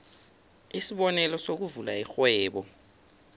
isibonelo sokuvula irhwebo